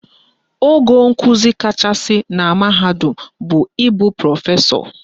Ogo nkuzi kachasị na mahadum bụ ịbụ Prọfesọ